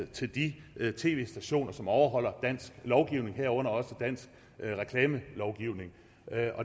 til de tv stationer som overholder dansk lovgivning herunder også dansk reklamelovgivning